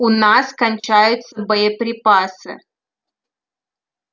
у нас кончаются боеприпасы